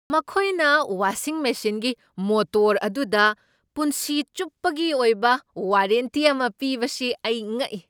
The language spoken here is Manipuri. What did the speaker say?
ꯃꯈꯣꯏꯅ ꯋꯥꯁꯤꯡ ꯃꯦꯁꯤꯟꯒꯤ ꯃꯣꯇꯣꯔ ꯑꯗꯨꯗ ꯄꯨꯟꯁꯤ ꯆꯨꯞꯄꯒꯤ ꯑꯣꯏꯕ ꯋꯥꯔꯦꯟꯇꯤ ꯑꯃ ꯄꯤꯕꯁꯤ ꯑꯩ ꯉꯛꯏ꯫